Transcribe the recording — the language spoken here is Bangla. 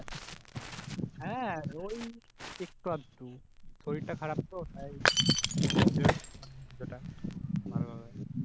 হ্যাঁ ওই একটু আধটু শরীরটা খারাপ তো তাই বেশি